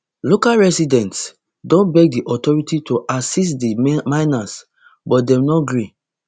local residents don beg di authorities to assist di miners but dem no gree